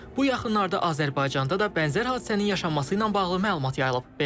Bu yaxınlarda Azərbaycanda da bənzər hadisənin yaşanması ilə bağlı məlumat yayılıb.